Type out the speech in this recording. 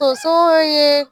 Tonso ye